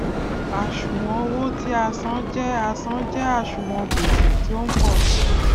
àṣùwòn owó tí a san je a san je àṣùwòn gbese ti o n po si i